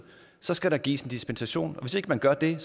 så skal der gives en dispensation hvis ikke man gør det